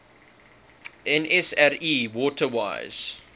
nsri water wise